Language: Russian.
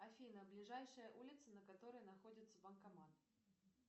афина ближайшая улица на которой находится банкомат